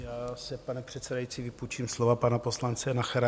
Já si, pane předsedající, vypůjčím slova pana poslance Nachera.